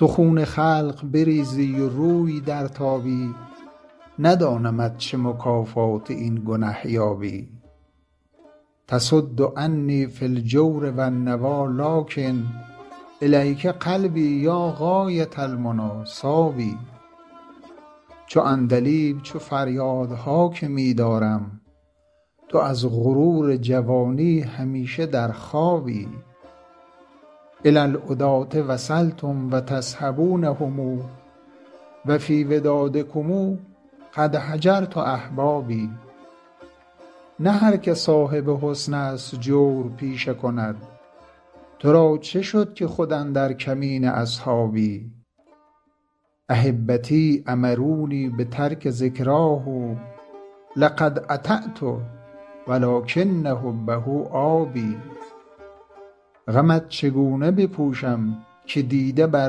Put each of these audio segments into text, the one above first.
تو خون خلق بریزی و روی درتابی ندانمت چه مکافات این گنه یابی تصد عنی فی الجور و النویٰ لٰکن إلیک قلبی یا غایة المنیٰ صاب چو عندلیب چه فریادها که می دارم تو از غرور جوانی همیشه در خوابی إلی العداة وصلتم و تصحبونهم و فی ودادکم قد هجرت أحبابی نه هر که صاحب حسن است جور پیشه کند تو را چه شد که خود اندر کمین اصحابی أحبتی أمرونی بترک ذکراه لقد أطعت و لٰکن حبه آب غمت چگونه بپوشم که دیده بر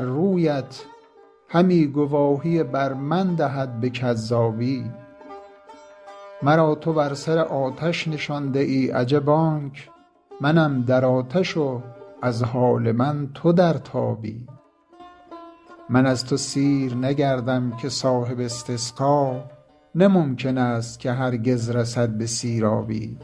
رویت همی گواهی بر من دهد به کذابی مرا تو بر سر آتش نشانده ای عجب آنک منم در آتش و از حال من تو در تابی من از تو سیر نگردم که صاحب استسقا نه ممکن است که هرگز رسد به سیرابی